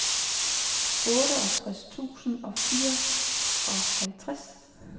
otteogtres tusind og fireoghalvtreds